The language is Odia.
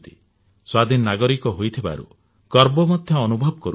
ସ୍ୱାଧୀନ ନାଗରିକ ହୋଇଥିବାରୁ ଗର୍ବ ମଧ୍ୟ ଅନୁଭବ କରୁଛୁ